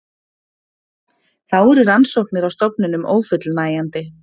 Þá eru rannsóknir á stofninum ófullnægjandi